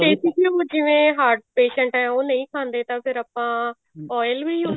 ਦੇਸੀ ਘਿਉ ਜਿਵੇਂ heart patient ਹੈ ਉਹ ਨਹੀਂ ਖਾਂਦੇ ਤਾਂ ਫ਼ੇਰ ਆਪਾਂ oil ਵੀ use